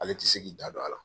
Ale tɛ se k'i da don a la.